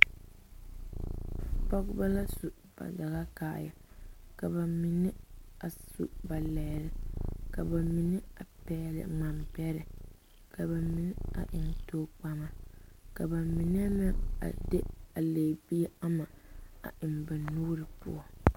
Pɔgeba la su ba dagaoaaya ka ba mine a su ba lɛɛre ka ba mine pɛgle ŋmambɛrɛ ka ba mine eŋ tokpama ka ba mine de a legibie ama a eŋ ba nuuri poɔ.